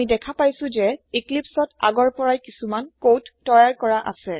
আমি দেখা পাইছো যে ইক্লিপ্চত আগৰ পৰাই কিচোমান কোদ তৈয়াৰ কৰা আছে